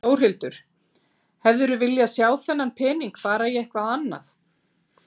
Þórhildur: Hefðirðu viljað sjá þennan pening fara í eitthvað annað?